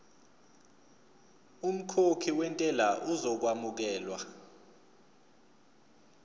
umkhokhi wentela uzokwamukelwa